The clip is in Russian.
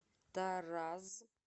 тараз